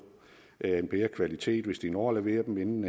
af en bedre kvalitet hvis de når at levere dem inden